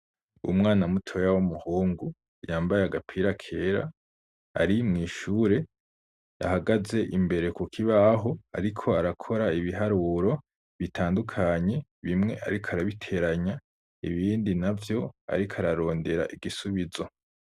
Umwana mutoya, w'umuhungu, yambaye agapira kera, ari mw'ishure, ahagaze imbere, ku kibaho, ariko arakora ibiharuro bitandukanye; bimwe ariko arabiteranya, ibindi navyo, ariko ararondera igisubizo.